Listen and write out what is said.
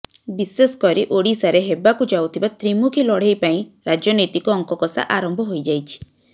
ବିଶେଷ କରି ଓଡିଶାରେ ହେବାକୁ ଯାଉଥିବା ତ୍ରିମୁଖୀ ଲଢେଇ ପାଇଁ ରାଜନୈତିକ ଅଙ୍କକଷା ଆରମ୍ଭ ହୋଇଯାଇଛି